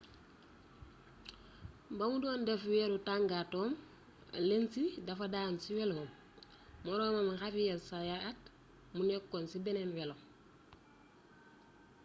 ba mu doon def wëru tàngaatoom lenz dafa daanu ci weloom moroomam xavier zayat mu nekkoon ci beneen welo